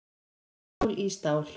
Stál í stál